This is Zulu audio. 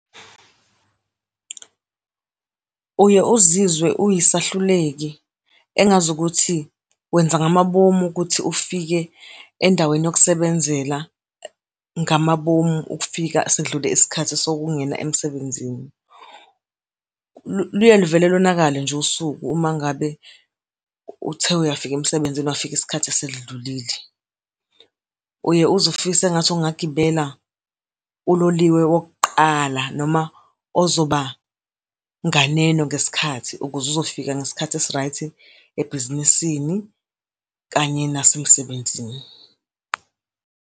Uye uzizwe uyisehluleki, engazukuthi wenza ngamabomu ukuthi ufike endaweni yokusebenzela ngamabomu, ukufika sekudlule isikhathi sokungena emsebenzini. Luye luvele lonakale nje usuku uma ngabe uthe uyafika emsebenzini wafika isikhathi sesedlulile. Uye uze ufise engathi ungagibela uloliwe wokuqala, ozoba nganeno ngesikhathi, ukuze uzofika ngesikhathi esi-right ebhizinisini kanye nasemsebenzini.